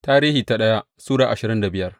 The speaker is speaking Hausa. daya Tarihi Sura ashirin da biyar